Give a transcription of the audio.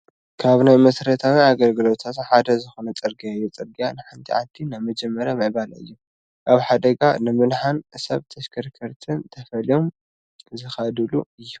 ካብ ናይ መሰረታዊ ኣገልግሎታት ሓደ ዝኾነ ፅርግያ እዩ፡፡ ፅርግያ ንሓንቲ ዓዲ ናይ መጀመርያ ምዕባለ እዩ፡፡ ካብ ሓደጋ ንምድሓን ሰብ ተሽከርከርትን ተፈልዮም ዝኸድሉ እዩ፡፡